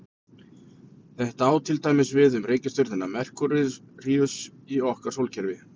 Þetta á til dæmis við um reikistjörnuna Merkúríus í okkar sólkerfi.